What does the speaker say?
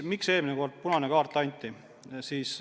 Miks eelmine kord punane kaart anti?